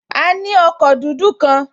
A ní ọkọ̀ dúdú kan